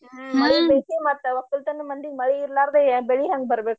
ಹ್ಮ ಮಳಿ ಬೇಕೆ ಮತ್ತ ವಕ್ಕಲ್ತನ ಮಂದಿಗೆ ಮಳಿ ಇರ್ಲಾರ್ದೆ ಬೆಳಿ ಹೆಂಗ ಬರ್ಬೆಕು.